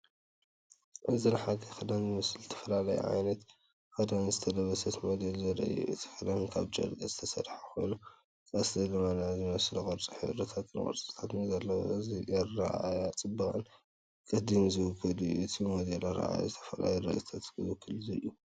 እዚ ንሓጋይ ክዳን ዝመስል ዝተፈላለየ ዓይነት ክዳን ዝለበሰት ሞዴል ዘርኢ እዩ። እቲ ክዳን ካብ ጨርቂ ዝተሰርሐ ኮይኑ፡ቀስተ ደመና ዝመስል ቅርጺ ሕብርታትን ቅርጽታትን ዘለዎ እዩ። እዚ ንኣረኣእያ ጽባቐን ቅዲን ዝውክል እዩ። እቲ ሞዴል ኣረኣእያ ዝተፈላለዩ ርእይቶታት ዝውክል እዩ።